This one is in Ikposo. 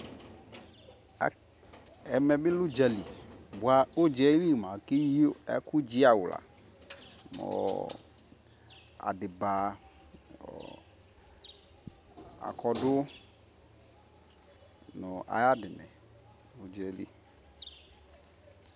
ɛmɛ ni lɛ ʋdzali bʋa ʋdzaɛli mʋa akɛyi ɛkʋ dzi awla mʋ adiba, akɔdʋ nʋ ayi wini nʋ ʋdzali